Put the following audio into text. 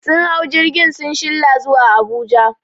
Sun hau jirgi sun shilla zuwa Abuja